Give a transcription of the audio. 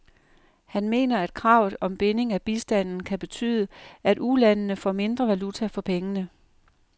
Han mener, at kravet om binding af bistanden kan betyde, at ulandene får mindre valuta for pengene.